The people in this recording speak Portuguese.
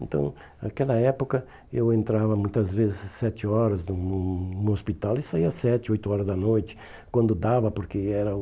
Então, naquela época, eu entrava muitas vezes às sete horas no no no hospital e saía às sete, oito horas da noite, quando dava, porque era o...